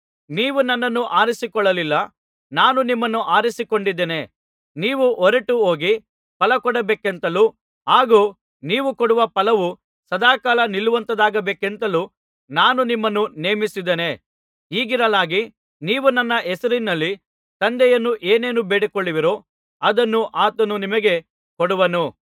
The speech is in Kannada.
ನೀವು ನನ್ನನ್ನು ಆರಿಸಿಕೊಳ್ಳಲಿಲ್ಲ ನಾನು ನಿಮ್ಮನ್ನು ಆರಿಸಿಕೊಂಡಿದ್ದೇನೆ ನೀವು ಹೊರಟು ಹೋಗಿ ಫಲಕೊಡಬೇಕೆಂತಲೂ ಹಾಗೂ ನೀವು ಕೊಡುವ ಫಲವು ಸದಾಕಾಲ ನಿಲ್ಲುವಂಥದ್ದಾಗಬೇಕಂತಲೂ ನಾನು ನಿಮ್ಮನ್ನು ನೇಮಿಸಿದ್ದೇನೆ ಹೀಗಿರಲಾಗಿ ನೀವು ನನ್ನ ಹೆಸರಿನಲ್ಲಿ ತಂದೆಯನ್ನು ಏನೇನು ಬೇಡಿಕೊಳ್ಳುವಿರೋ ಅದನ್ನು ಆತನು ನಿಮಗೆ ಕೊಡುವನು